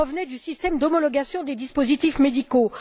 du système d'homologation des dispositifs médicaux.